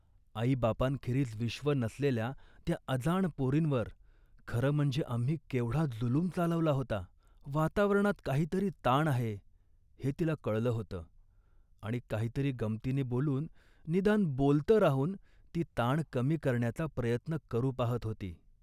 आईबापांखेरीज विश्व नसलेल्या त्या अजाण पोरींवर खरं म्हणजे आम्ही केवढा जुलूम चालवला होता. वातावरणात काहीतरी ताण आहे हे तिला कळलं होतं आणि काहीतरी गमंतीनी बोलून, निदान बोलतं राहून ती ताण कमी करण्याचा प्रयत्न करू पाहत होती